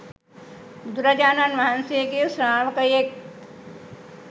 බුදුරජාණන් වහන්සේගේ ශ්‍රාවකයෙක්.